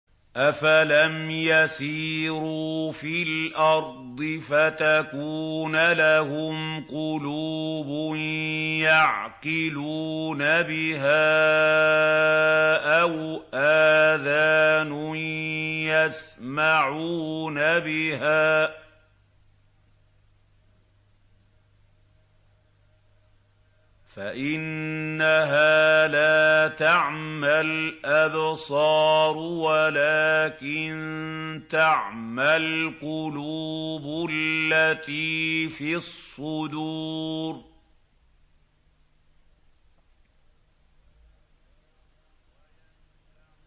أَفَلَمْ يَسِيرُوا فِي الْأَرْضِ فَتَكُونَ لَهُمْ قُلُوبٌ يَعْقِلُونَ بِهَا أَوْ آذَانٌ يَسْمَعُونَ بِهَا ۖ فَإِنَّهَا لَا تَعْمَى الْأَبْصَارُ وَلَٰكِن تَعْمَى الْقُلُوبُ الَّتِي فِي الصُّدُورِ